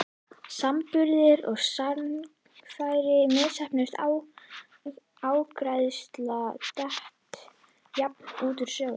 samanburði er sagnfræðin misheppnuð ágræðsla, dett jafnan út úr sögunni.